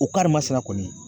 O karima sina kɔni